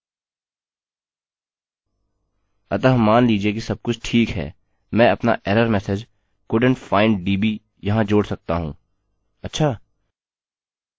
अतः मान लीजिए कि सबकुछ ठीक है मैं अपना error message couldnt find db यहाँ जोड़ सकता हूँ अच्छा